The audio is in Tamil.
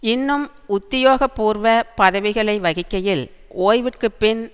இன்னும் உத்தியோக பூர்வ பதவிகளை வகிக்கையில் ஓய்விற்குப்பின்